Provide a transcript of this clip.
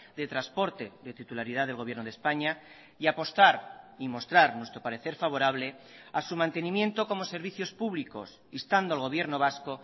de transporte de titularidad del gobierno de españa y apostar y mostrar nuestro parecer favorable a su mantenimiento como servicios públicos instando al gobierno vasco